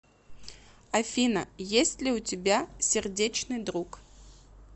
афина есть ли у тебя сердечный друг